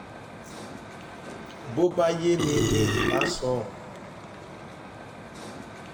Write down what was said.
bó bá yé mi ni ǹ bá sọ